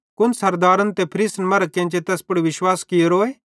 कुन सरदारन ते फरीसन मरां केन्चे तैस पुड़ विश्वास कियोरोए